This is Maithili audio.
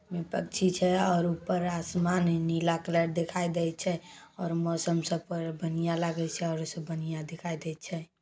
पक्षी छै और ऊपर आसमान नीला कलर दिखाई देय छै। और मौसम सब पर बनिया लागे छै और उ से बनिया दिखाई देय छै।